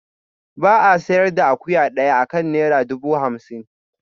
Ba a sayar da akuya daya akan naira dubu hamsin